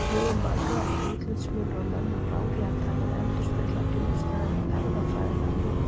Í hugum margra er útlitsmunur á mönnum ranglega talinn endurspegla djúpstæðan erfðafræðilegan mun.